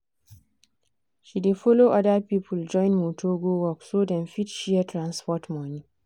she dey follow other people join motor go work so dem fit share transport money.